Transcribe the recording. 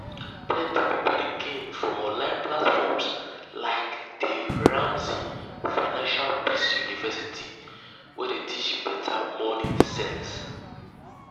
plenty people dey gain from online platforms like dave ramsey financial peace university wey dey teach better money sense.